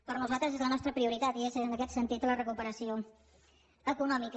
per nosaltres és la nostra prioritat i és en aquest sentit la recuperació econòmica